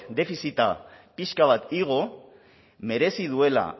defizita pixka bat igo merezi duela